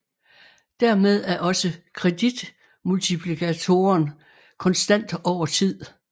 Dermed er også kreditmultiplikatoren konstant over tid